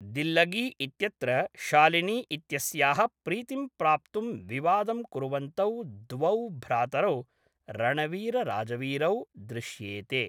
दिल्लगी इत्यत्र शालिनी इत्यस्याः प्रीतिं प्राप्तुं विवादं कुर्वन्तौ द्वौ भ्रातरौ रणवीरराजवीरौ दृश्येते।